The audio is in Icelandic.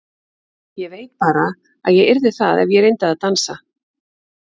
Ég veit bara að ég yrði það ef ég reyndi að dansa.